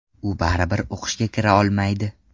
U baribir o‘qishga kira olmaydi.